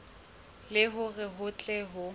le hore ho tle ho